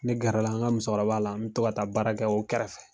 Ne gɛrɛla an ka musokɔrɔba la n bi to ka taa baara kɛ o kɛrɛfɛ.